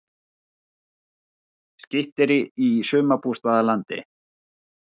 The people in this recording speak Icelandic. Skytterí í sumarbústaðalandi